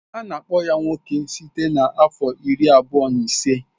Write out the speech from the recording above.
Ana akpọ ya nwoke site na afọ iri abụọ na ise.